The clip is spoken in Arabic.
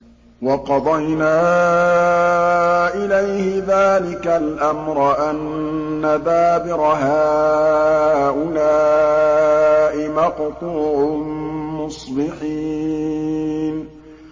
وَقَضَيْنَا إِلَيْهِ ذَٰلِكَ الْأَمْرَ أَنَّ دَابِرَ هَٰؤُلَاءِ مَقْطُوعٌ مُّصْبِحِينَ